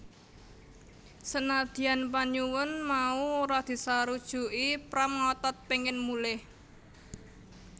Senadyan panyuwun mau ora disarujuki Pram ngotot pengin mulih